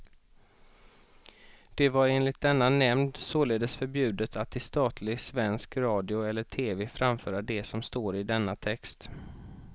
Det var enligt denna nämnd således förbjudet att i statlig svensk radio eller tv framföra det som står i denna text.